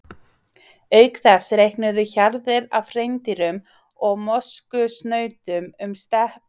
Auk þess reikuðu hjarðir af hreindýrum og moskusnautum um steppurnar á jökulskeiðum.